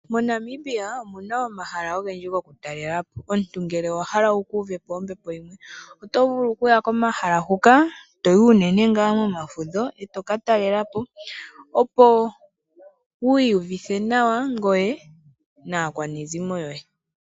MoNamibia omuna omahala ogendji go ku talelapo, omuntu ngele owahala wu kuuvepo ombepo yimwe, otovulu okuya komahala huka, toyi unene ngaa mo mafudho eto ka talelapo, opo wu iyuvithe nawa naakwanezimo yoye.